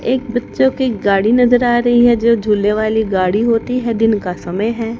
एक बच्चों की गाड़ी नजर आ रही है जो झूले वाली गाड़ी होती हैं। दिन का समय है।